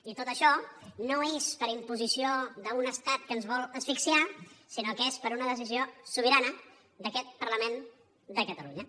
i tot això no és per imposició d’un estat que ens vol asfixiar sinó que és per una decisió sobirana d’aquest parlament de catalunya